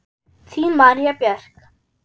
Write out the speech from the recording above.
Þín María Björk.